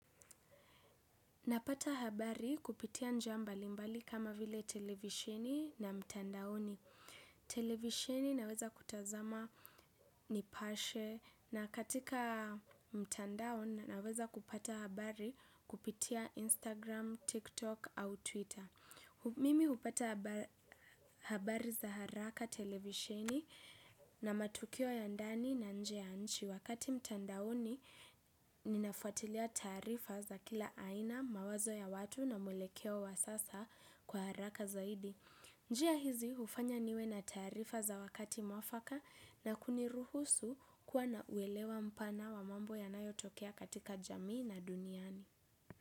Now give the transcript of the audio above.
Napata habari kupitia njia mbalimbali kama vile televisheni na mtandaoni. Televisheni naweza kutazama nipashe na katika mtandaoni naweza kupata habari kupitia Instagram, TikTok au Twitter. Mimi kupata habari za haraka televisheni na matukio ya ndani na nje nchi. Wakati mtandaoni, ninafuatilia taarifa za kila aina, mawazo ya watu na mwelekeo wa sasa kwa haraka zaidi. Njia hizi, hufanya niwe na taarifa za wakati mwafaka na kuniruhusu kuwa na kuelewa mpana wa mambo yanayotokea katika jamii na duniani.